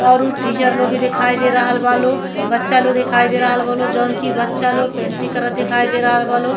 और उ टीचर लोग भी दिखाई दे रहल बा लोग। बच्चा लोग दिखाई दे रहल बा लोग जौन कि बच्चा लोग पेंटिंग करत दिखाई दे रहल बा लोग।